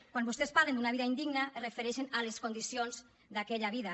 quan vostès parlen d’una vida indigna es refereixen a les condicions d’aquella vida